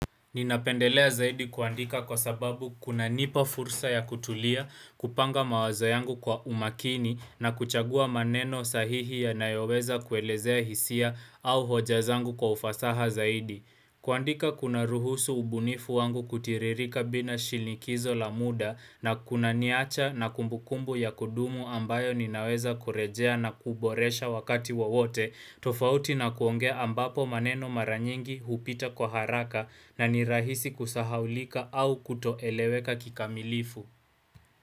Ninapendelea zaidi kuandika kwa sababu kunanipa fursa ya kutulia, kupanga mawazo yangu kwa umakini na kuchagua maneno sahihi yanayoweza kuelezea hisia au hoja zangu kwa ufasaha zaidi. Kuandika kuna ruhusu ubunifu wangu kutiririka bina shinikizo la muda na kuna niacha na kumbukumbu ya kudumu ambayo ninaweza kurejea na kuboresha wakati wowote, tofauti na kuongea ambapo maneno maranyingi hupita kwa haraka na nirahisi kusahaulika au kutoeleweka kikamilifu.